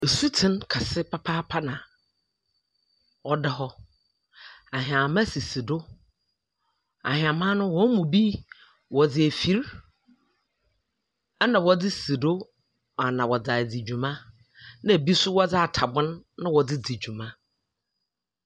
Sutsen kɛse papaapa na ɔda hɔ. Ahɛma sisi do, ahɛma no wɔn mu bi wɔdze afiri ɛna wɔdze si do ana wɔdze adi dwuma, na bi so wɔdze atabon na wɔdze di dwuma.